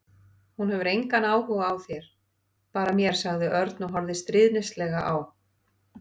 Hún hefur engan áhuga á þér, bara mér sagði Örn og horfði stríðnislega á